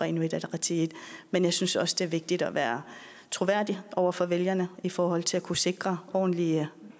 inuit ataqatigiit men jeg synes også det er vigtigt at være troværdig over for vælgerne i forhold til at kunne sikre ordentlige